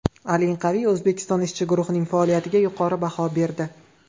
Al-Inqaviy O‘zbekiston ishchi guruhining faoliyatiga yuqori baho berdi.